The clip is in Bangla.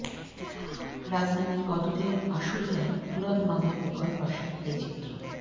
রাজধানীর অদূরে আশুলিয়ায় তুরাগ নদের উভয় পাশের এই চিত্র